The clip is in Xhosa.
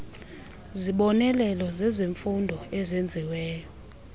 zibonelelo zezemfundo ezenziweyo